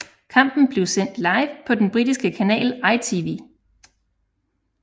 Kampen blev sendt live på den britiske kanal ITV